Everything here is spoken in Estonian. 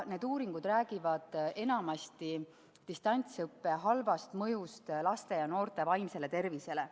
Need uuringud räägivad enamasti distantsõppe halvast mõjust laste ja noorte vaimsele tervisele.